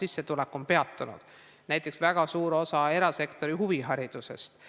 sissetulek on peatunud, näiteks väga suures osas erasektori huviharidusest?